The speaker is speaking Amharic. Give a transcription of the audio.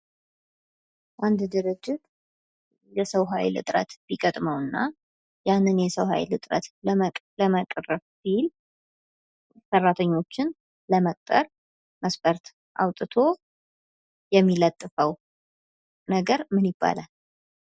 አንድ ድርጅት የሰው ሃይል እጥረት ቢገጥመው እና ያንን የሰው ሃይል እጥረት ለመቅረፍ ቢል ሰራተኞችን ለመቅጠር መስፈርት አውጥቶ የሚለጥፈው ነገር ምን ይባላል?